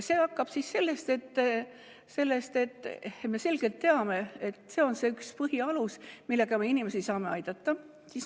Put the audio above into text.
See algab sellest, et me selgelt teame, et see on see üks põhialuseid, millega me inimesi saame aidata.